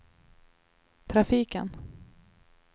trafiken